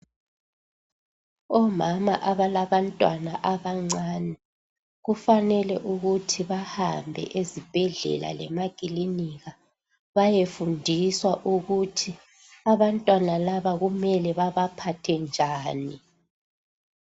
Omama abalabantwana abancane kufanele ukuthi bahambe ezibhedlela lemakilinika, bayefundiswa ukuthi abantwana laba kumele babaphathe njani.